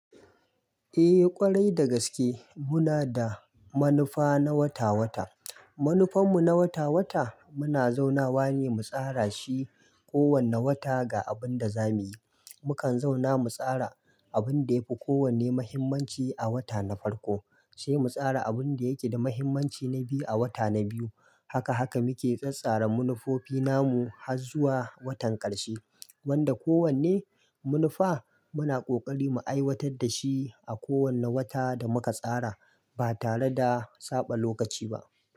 Eh ƙwarai da gaske muna da manufa na wata-wata. Manufan mu na wata-wata muna zauna wa ne mu tsara shi kowane wata ga abun da za muyi. Mukan zauna mu tsara abin da ya fi kowane muhimmanci a wata na farko sai mu tsara abun da yake da muhimmanci na biyu a wata na biyu. Haka haka muke tsattsara manufofi na mu har zuwa watan ƙarshe wanda kowane manufa muna ƙoƙari mu aiwatar da shi a kowane wata da muka tsara ba tare da saba lokaci ba.